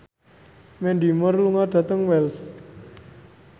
Mandy Moore lunga dhateng Wells